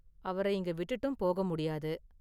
அவர இங்க விட்டுட்டும் போக முடியாது.